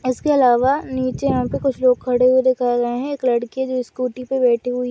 इसके अलावा नीचे हमको कुछ लोग खड़े हुए दिखाए गए है एक लड़की है जो स्कूटी पे बैठी हुई--